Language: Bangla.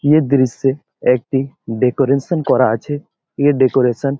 ইয়ে দৃশ্যে একটি ডেকোরেশন করা আছে। এ ডেকোরেশন --